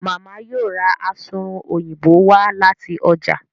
Mama yíò rá Asunrun Òyìnbó wá láti ọjà